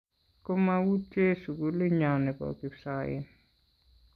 komautye sugulinyo nebo kipsoen